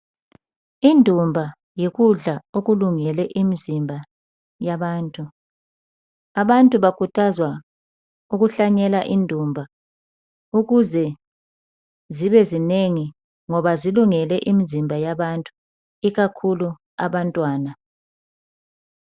indumba yikudla okulungele umzimba abantu bakhuthazwa ukuhlanyela indumba ukuze zibe zinengi ngoba zilungele imizimba yabantu ikakhulu abantwana